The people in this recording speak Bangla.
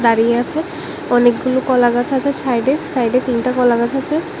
দাঁড়িয়ে আছে অনেকগুলো কলা গাছ আছে ছাইডে সাইডে তিনটে কলা গাছ আছে।